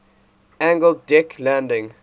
angled deck landing